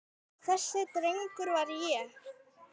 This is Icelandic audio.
Þessi drengur var ég.